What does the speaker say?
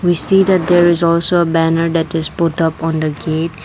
we see that there is also a banner that is put up on the gate.